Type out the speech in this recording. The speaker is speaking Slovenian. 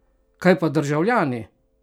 Kaj pa državljani?